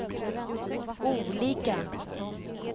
olika